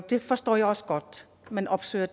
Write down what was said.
det forstår jeg også godt at man opsøger